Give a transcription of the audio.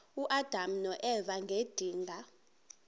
uadam noeva ngedinga